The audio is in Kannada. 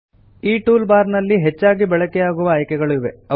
ಈ ಟೂಲ್ ಬಾರ್ ನಲ್ಲಿ ಹೆಚ್ಚಾಗಿ ಬಳಕೆಯಾಗುವ ಆಯ್ಕೆಗಳು ಇವೆ